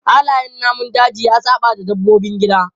Halayen namun daji ya saɓawa dabbobin gida.